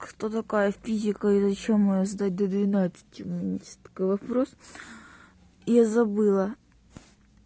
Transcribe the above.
что такое физика и зачем её сдать до двенадцати у меня такой вопрос я забыла